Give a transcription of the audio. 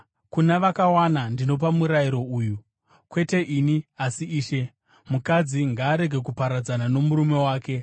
Kuna vakawana ndinopa murayiro uyu (kwete ini, asi Ishe): Mukadzi ngaarege kuparadzana nomurume wake.